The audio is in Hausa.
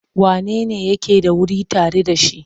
Wanene yake da wuri tare da shi?